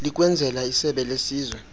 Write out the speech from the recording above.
likwenzela isebe lesizwe